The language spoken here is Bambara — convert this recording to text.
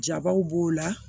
Jabaw b'o la